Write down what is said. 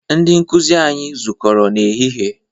Ndị nkụzi anyi zukọrọ n'ehihie